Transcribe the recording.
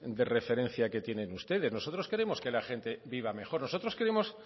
de referencia que tienen ustedes nosotros queremos que la gente viva mejor nosotros queremos